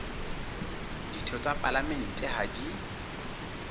ditho tsa palamente ha di